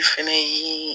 I fɛnɛ ye